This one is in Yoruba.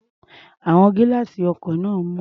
Àwọn gílá́àsì ọkọ̀ náà mọ́.